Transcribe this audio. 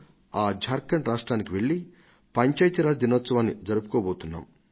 ఆ జార్ఖండ్ రాష్ట్రానికి వెళ్లి పంచాయతీరాజ్ దినోత్సవాన్ని జరుపుకోబోతున్నాం